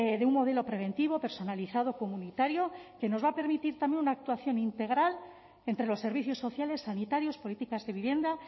de un modelo preventivo personalizado comunitario que nos va a permitir también una actuación integral entre los servicios sociales sanitarios políticas de vivienda